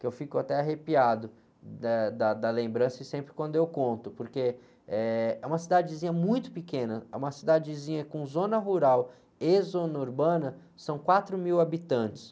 que eu fico até arrepiado, eh, da, da lembrança e sempre quando eu conto, porque é uma cidadezinha muito pequena, é uma cidadezinha com zona rural e zona urbana, são quatro mil habitantes.